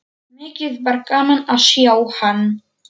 Mikið var gaman að sjá hann.